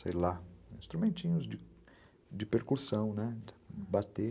sei lá, instrumentinhos de percursão, bater.